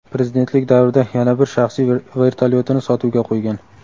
prezidentlik davrida yana bir shaxsiy vertolyotini sotuvga qo‘ygan.